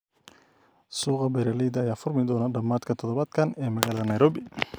Suuqa beeralayda ayaa furmi doona dhamaadka todobaadkan ee magaalada Nairobi